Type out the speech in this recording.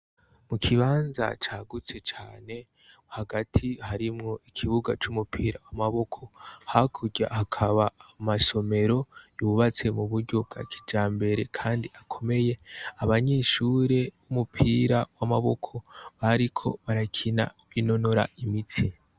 Mu kibanza cagutse cane hagati harimwo ikibuga c'umupira w'amaboko hakurya hakaba amasomero yubatse mu buryo bwa kijambere kandi akomeye abanyeshure b'umupira w'amaboko bariko barakina binonora imitsi.